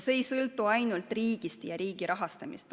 See ei sõltu ainult riigist ja riigi rahastamisest.